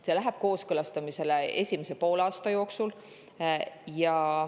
See läheb kooskõlastamisele esimese poolaasta jooksul.